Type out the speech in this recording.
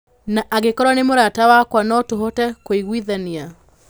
Na angĩkorũo nĩ mũrata wakwa no tũhote kũiguithania.